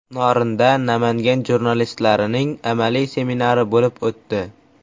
Norinda Namangan jurnalistlarining amaliy seminari bo‘lib o‘tdi.